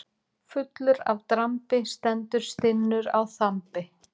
Fullur af drambi stendur stinnur á þambi.